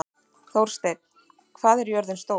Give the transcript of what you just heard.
Þórsteinn, hvað er jörðin stór?